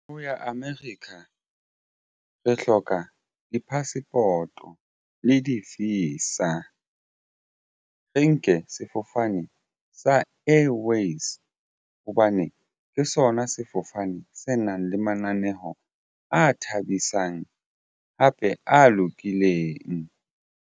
Ho ya America re hloka di-passport-o le di-visa. Re nke sefofane sa Airways hobane ke sona sefofane se nang le mananeho a thabisang hape a lokileng.